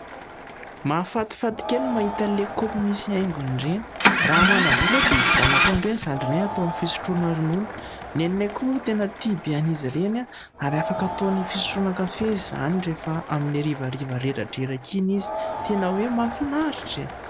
Mahafatifaty kely ny mahita an'ilay kaopy misy haingony ireny. Raha manam-bola aho dia ividianako an'ireny zandrinay ataony fisotroana ronono. Neninay koa moa tena tia be an'izy ireny ary afaka ataony fisotroana kafe izany rehefa amin'ny hariva reradreraka iny izy. Tena hoe mahafinaritra e !